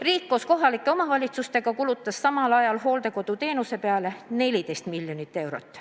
Riik koos kohalike omavalitsustega kulutas samal ajal hooldekoduteenuse peale 14 miljonit eurot.